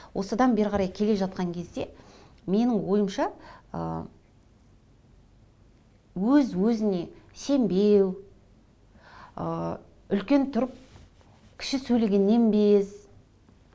осыдан бері қарай келе жатқан кезде менің ойымша ыыы өз өзіне сенбеу ы үлкен тұрып кіші сөйлегеннен без